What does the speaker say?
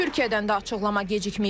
Türkiyədən də açıqlama gecikməyib.